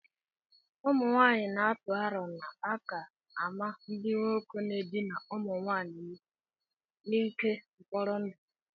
ụmụnwaanyị na-atụ aro na a ka-amaa ndị nwoke na-edina ụmụ nwanyị n'ike mkpọrọ ndụ